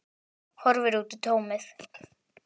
Horfir út í tómið.